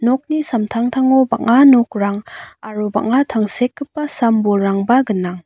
nokni samtangtango bang·a nokrang aro bang·a tangsekgipa sam-bolrangba gnang.